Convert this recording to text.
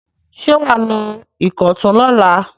Ṣé wà á lọ Ìkọ̀tún lọ́la?